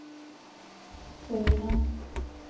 Ørland